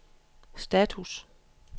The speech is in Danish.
status